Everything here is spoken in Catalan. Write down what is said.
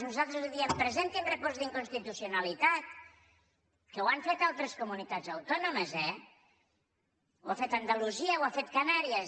nosaltres li diem presentin recurs d’inconstitucionalitat que ho han fet altres comunitats autònomes eh ho ha fet andalusia i ho ha fet canàries